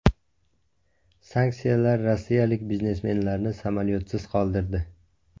Sanksiyalar rossiyalik biznesmenlarni samolyotsiz qoldirdi.